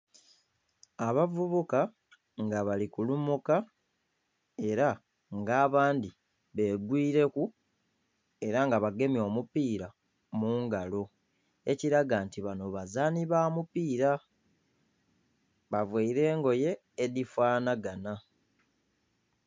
Abavubuka nga bali kulumuka era nga abandhi be gwireku era nga bagemye omupira mungalo ekiraga nti banho bazaanhi ba mupira, bavaire engoye edhi fanagana.